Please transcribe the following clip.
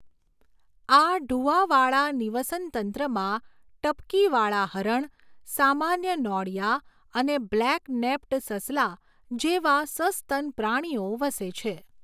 આ ઢુવાવાળા નિવસનતંત્રમાં ટપકીવાળા હરણ, સામાન્ય નોળિયા અને બ્લેક નેપ્ડ સસલા જેવા સસ્તન પ્રાણીઓ વસે છે.